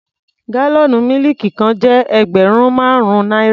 Gálọ̀nú mílìkì kan jẹ́ ẹgbẹ̀rún márùn-ún náírà.